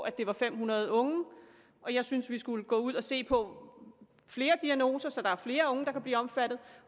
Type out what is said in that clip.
at det var fem hundrede unge jeg synes vi skulle gå ud og se på flere diagnoser så der er flere unge der kan blive omfattet